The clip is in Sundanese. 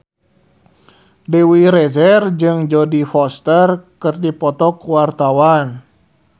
Dewi Rezer jeung Jodie Foster keur dipoto ku wartawan